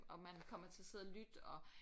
Og man kommer til at sidde og lytte og